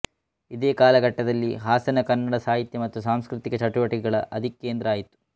ಇದೇ ಕಾಲಘಟ್ಟದಲ್ಲಿ ಹಾಸನ ಕನ್ನಡ ಸಾಹಿತ್ಯ ಮತ್ತು ಸಾಂಸ್ಕೃತಿಕ ಚಟುವಟಿಕೆಗಳ ಅಧಿಕೇಂದ್ರ ಆಯಿತು